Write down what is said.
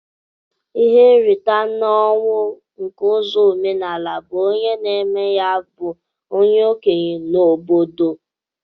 Ihe nrita na ọnwụ nke ụzọ omenala bu onye na eme ya bu onye okenye n'obodo.